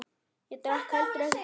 Ég drakk heldur ekki kaffi.